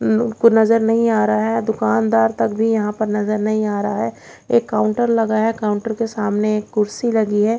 उम्म उनको नजर नहीं आ रहा है दुकानदार तक भी यहां पर नजर नही आ रहा है एक काउंटर लगा है काउंटर के सामने कुर्सी लगी है।